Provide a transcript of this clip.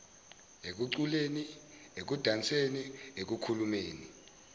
ekuculeni ekudanseni ekukhulumeni